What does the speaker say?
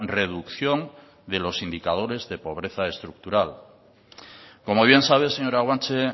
reducción de los indicadores de pobreza estructural como bien sabe señora guanche